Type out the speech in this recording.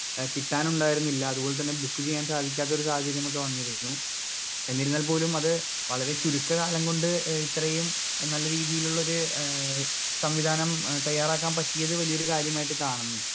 Speaker 2 ഏ കിട്ടാനുണ്ടായിരുന്നില്ല അത് പോലെ തന്നെ ബുക്ക് ചെയ്യാൻ സാധിക്കാത്തൊരു സാഹചര്യമൊക്കെ വന്നിരുന്നു എന്നിരുന്നാൽ പോലും അത് വളരെ ചുരുക്ക കാലം കൊണ്ട് ഏ ഇത്രയും നല്ല രീതിയിലുള്ളൊരു ഏ സംവിധാനം ഏ തയ്യാറാക്കാൻ പറ്റിയത് വല്ല്യൊരു കാര്യമായിട്ട് കാണുന്നു.